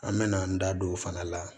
An mɛna an da don o fana la